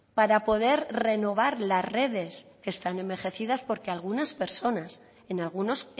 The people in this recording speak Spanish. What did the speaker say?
para poder renovar las redes que están envejecidas porque algunas personas en algunos